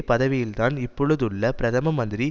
பதவியில்தான் இப்பொழுதுள்ள பிரதம மந்திரி